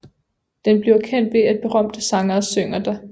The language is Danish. Den bliver kendt ved at berømte sangere synger der